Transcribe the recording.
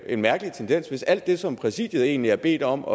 en mærkelig tendens hvis alt det som præsidiet egentlig er bedt om